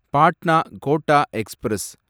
Patna Kota express